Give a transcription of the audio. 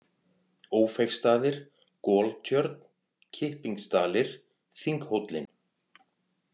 Ófeigsstaðir, Goltjörn, Kippingsdalir, Þinghóllinn